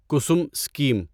Kusum scheme